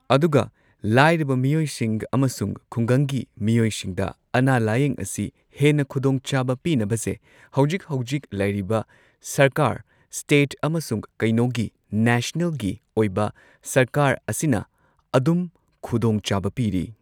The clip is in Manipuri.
ꯑꯗꯨꯒ ꯂꯥꯏꯔꯕ ꯃꯤꯑꯣꯏꯁꯤꯡ ꯑꯃꯁꯨꯡ ꯈꯨꯡꯒꯪꯒꯤ ꯃꯤꯑꯣꯏꯁꯤꯡꯗ ꯑꯅꯥ ꯂꯥꯌꯦꯡ ꯑꯁꯤ ꯍꯦꯟꯅ ꯈꯨꯗꯣꯡꯆꯥꯕ ꯄꯤꯅꯕꯁꯦ ꯍꯧꯖꯤꯛ ꯍꯧꯖꯤꯛ ꯂꯩꯔꯤꯕ ꯁꯔꯀꯥꯔ ꯁ꯭ꯇꯦꯠ ꯑꯃꯁꯨꯡ ꯀꯩꯅꯣꯒꯤ ꯅꯦꯁꯅꯦꯜꯒꯤ ꯑꯣꯏꯕ ꯁꯔꯀꯥꯔ ꯑꯁꯤꯅ ꯑꯗꯨꯝ ꯈꯨꯗꯣꯡ ꯆꯥꯕ ꯄꯤꯔꯤ꯫